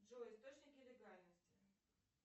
джой источники легальности